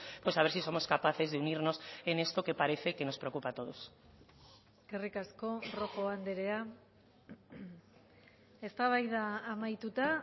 pues a ver si somos capaces de unirnos en esto que parece que nos preocupa a todos eskerrik asko rojo andrea eztabaida amaituta